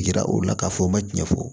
Yira o la k'a fɔ n ma tiɲɛ fɔ